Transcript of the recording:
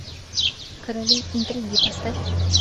короли интриги поставь